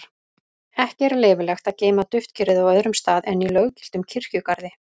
Ekki er leyfilegt að geyma duftkerið á öðrum stað en í löggiltum kirkjugarði.